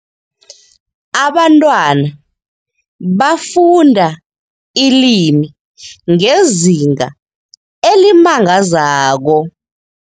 Abantwana bafunda ilimi ngezinga elimangazako.